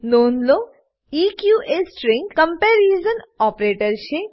નોંધ લો ઇક એ string comparison string comparison operator છે